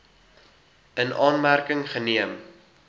in aanmerking geneem